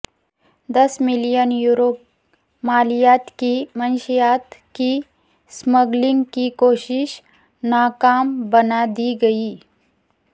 دس million euro مالیت کی منشیات کی اسمگلنگ کی کوشش ناکام بنا دی گئی